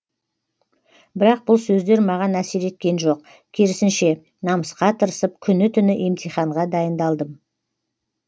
бірақ бұл сөздер маған әсер еткен жоқ керісінше намысқа тырысып күні түні емтиханға дайындалдым